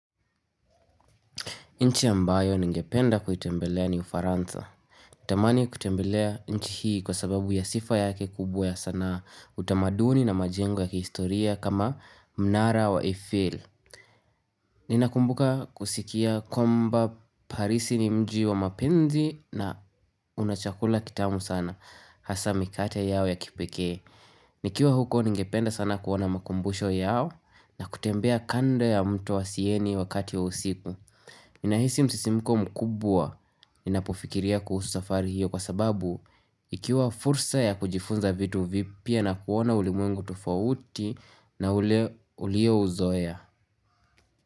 Nchi ya mbayo ningependa kuitembelea ni ufaranza. Tamani kutembelea nchi hii kwa sababu ya sifa yake kubwa ya sanaa utamaduni na majengo ya kihistoria kama mnara wa Eiffel. Ninakumbuka kusikia kwamba parisi ni mji wa mapenzi na una chakula kitamu sana. Hasa mikate yao ya kipekee. Nikiwa huko ningependa sana kuona makumbusho yao na kutembea kando ya mto wa sieni wakati wa usiku. Ninahisi msisimiko mkubwa inapofikiria kuhusu safari hiyo kwa sababu ikiwa fursa ya kujifunza vitu vipya na kuona ulimwengu tofauti na ulio uzoea.